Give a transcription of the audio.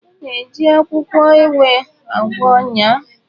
A na-eji akwụkwọ ewe agwọ ọnya.